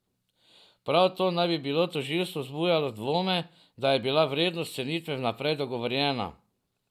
Prav to naj bi pri tožilstvu vzbujalo dvome, da je bila vrednost cenitve vnaprej dogovorjena.